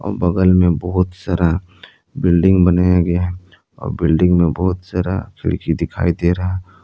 बगल में बहोत सारा बिल्डिंग बनाया गया और बिल्डिंग में बोहोत सारा खिड़की दिखाई दे रहा--